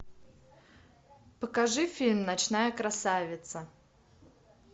покажи фильм ночная красавица